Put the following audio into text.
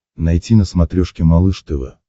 найти на смотрешке малыш тв